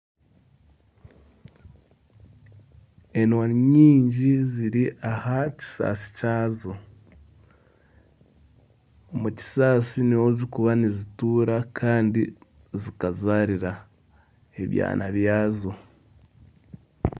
Enwa ni nyingi ziri aha kisaasi kyazo, omu kisaasi nimwo zikuba nizitura kandi zikazariramu ebyana byazo.